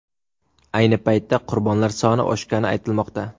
Ayni paytda qurbonlar soni oshgani aytilmoqda.